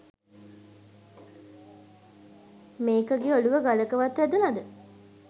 මේකගෙ ඔළුව ගලක වත් වැදුනද